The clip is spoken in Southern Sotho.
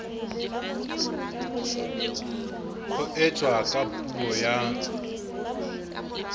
ho etswa ka puo ya